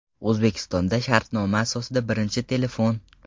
O‘zbekistonda shartnoma asosida birinchi telefon!.